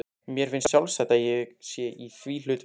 Mér finnst sjálfsagt að ég sé í því hlutverki.